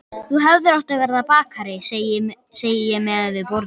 Þú hefðir átt að verða bakari, segi ég meðan við borðum.